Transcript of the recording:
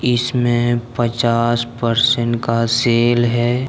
इसमें पच्चास परसेंट का सेल है।